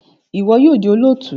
Iwọ yoo di olootu!